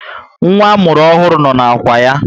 Nwa amụrụ ọhụrụ no na ákwà ya